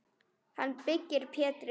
Hann byggði Pétri